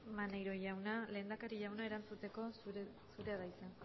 maneiro jauna lehendakaria jauna erantzuteko zurea da hitza